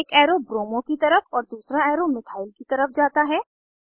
एक arrow bromo की तरफ और दूसरा एरो मिथाइल की तरफ जाता है